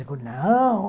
Eu digo, não.